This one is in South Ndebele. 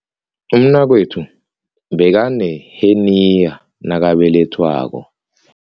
Umnakwethu bekaneheniya nakabelethwako.